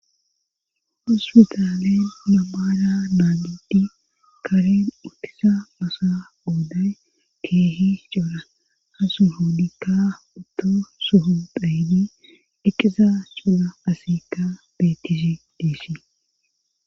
huspitaalen namara naagidi kareen uttisa mosa ooday keehi cuura hasu hoodikka utto suhu dhaydi eqiza culla asiikka bettisi diissii